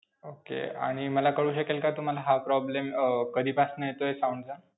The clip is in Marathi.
Okay. आणि मला कळू शकेल का तुम्हाला हा problem अं कधीपासून येतोय sound चा?